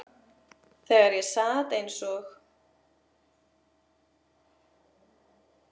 Þegar ég sat eins og